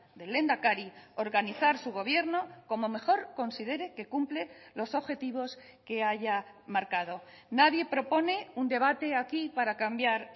del lehendakari organizar su gobierno como mejor considere que cumple los objetivos que haya marcado nadie propone un debate aquí para cambiar